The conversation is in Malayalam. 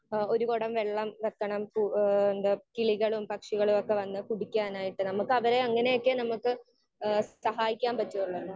സ്പീക്കർ 1 ഏഹ് ഒരു കുടം വെള്ളം വെക്കണം. ഏഹ് എന്താ കിളികളും പക്ഷികളൊക്കെ വന്ന് കുടിക്കാനായിട്ട് നമുക്ക് അവരെ അങ്ങനെയൊക്കെ നമുക്ക് സഹായിക്കാൻ പറ്റുവൊള്ളു അല്ലേ?